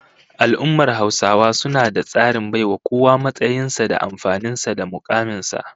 Al'ummar Hausawa suna da tsarin baiwa kowa matsayin sa da amfanin sa da mukamin sa